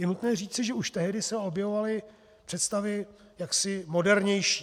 Je nutné říci, že už tehdy se objevovaly představy jaksi modernější.